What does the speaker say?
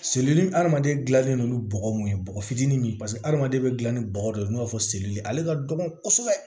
adamaden gilannen no ni bɔgɔ mun ye bɔgɔ fitinin min ye paseke hadamaden bɛ gilan ni bɔgɔ de ye n'o b'a fɔ seli ye ale ka dɔgɔn kosɛbɛ